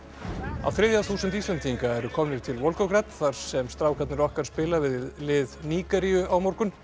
á þriðja þúsund Íslendinga eru komnir til þar sem strákarnir okkar spila við lið Nígeríu á morgun